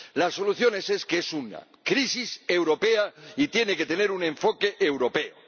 La solución es que es una crisis europea y tiene que tener un enfoque europeo.